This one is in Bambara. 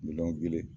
Miliyɔn kelen